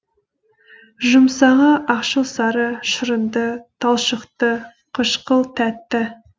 жұмсағы ақшыл сары шырынды талшықты қышқыл тәтті